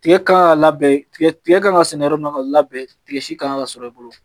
Tigɛ ka labɛn tigɛ kan ka sɛnɛ yɔrɔ min na ka labɛn tigɛ si kan ka sɔrɔ i bolo